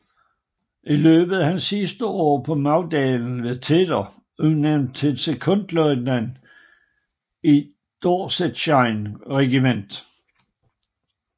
I løbet af hans sidste år på Magdalen blev Tedder udnævnt til sekondløjtnant i Dorsetshire Regiment